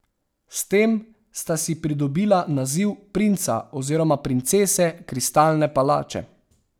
S tem sta si pridobila naziv princa oziroma princese Kristalne palače.